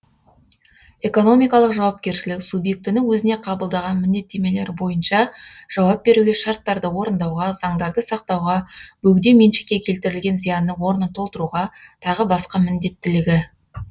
экономикалық жауапкершілік субъектінің өзіне қабылдаған міндеттемелері бойынша жауап беруге шарттарды орындауға заңдарды сақтауға бөгде меншікке келтірілген зиянның орнын толтыруға тағы басқа міндеттілігі